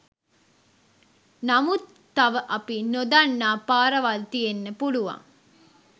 නමුත් තව අපි නොදන්නා පාරවල් තියෙන්න පුළුවන්.